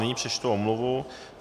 Nyní přečtu omluvu.